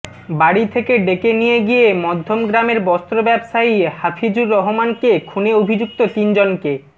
বাড়ি থেকে ডেকে নিয়ে গিয়ে মধ্যমগ্রামের বস্ত্র ব্যবসায়ী হাফিজুর রহমানকে খুনে অভিযুক্ত তিন জনকে